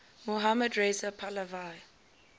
mohammad reza pahlavi